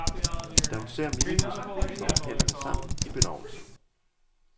Da hun ser minibussen, slå hun hænderne sammen i benovelse.